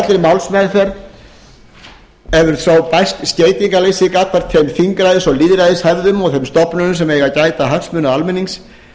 málsmeðferð hefur svo bæst skeytingarleysi gagnvart þeim þingræðis og lýðræðishefðum og þeim stofnunum sem eiga að gæta hagsmuna almennings